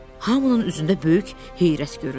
Hamının üzündə böyük heyrət göründü.